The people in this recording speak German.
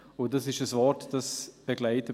Das ist ein Wort, das mich seither begleitet.